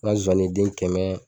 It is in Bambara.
N ka nzozani den kɛmɛ